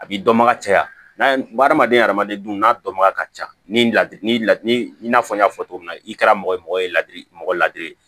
A b'i dɔnbaga caya adamaden adamaden dun n'a dɔnbaga ka ca ni i n'a fɔ n y'a fɔ cogo min na i kɛra mɔgɔ ye mɔgɔ ye ladili mɔgɔ ladiri ye